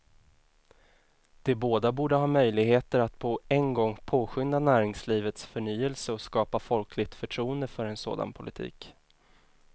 De båda borde ha möjligheter att på en gång påskynda näringslivets förnyelse och skapa folkligt förtroende för en sådan politik.